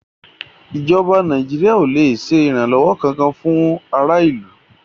ìjọba Nàìjíríà ò lè ṣe ìrànlọ́wọ́ kankan fún ará ìlú.